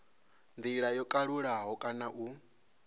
ndila yo kalulaho kana u